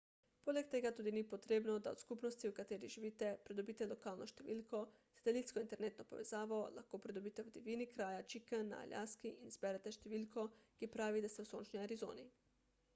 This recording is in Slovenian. poleg tega tudi ni potrebno da od skupnosti v kateri živite pridobite lokalno številko satelitsko internetno povezavo lahko pridobite v divjini kraja chicken na aljaski in izberete številko ki pravi da ste v sončni arizoni